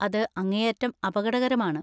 അത് അങ്ങേയറ്റം അപകടകരമാണ്.